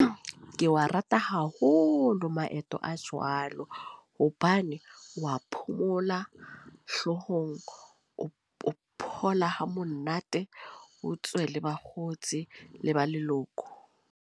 Ke wa rata haholo, maeto a jwalo. Hobane wa phomola hloohong, o phomola ha monate. O tswe le bakgotsi le ba leloko.